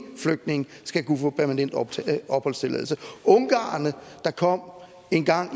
flygtninge skal kunne få permanent opholdstilladelse ungarerne der kom engang